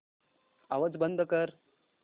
आवाज बंद कर